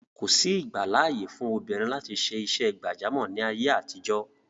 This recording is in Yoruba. Kòsí ìgbàláàyè fún obìnrin láti ṣe iṣẹ́ gbàjámọ̀ ní ayé àtijọ́.